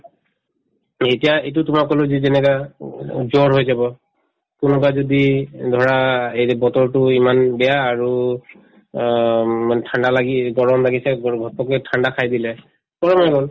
এতিয়া এইটো তোমাক কলো যি যেনেকা অ অ জ্বৰ হৈ যাব কোনোবা যদি ধৰা এই যে বতৰতো ইমান বেয়া আৰু অ উম ইমান ঠাণ্ডা লাগি গৰম লাগিছে ঠাণ্ডা খাই দিলে গৰম হৈ গল